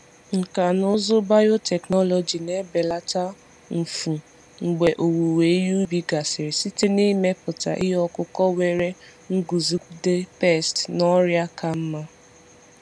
Nkà na ụzụ biotechnology na-ebelata mfu mgbe owuwe ihe ubi gasịrị site n’ịmepụta ihe ọkụkụ nwere nguzogide pesti na ọrịa ka mma.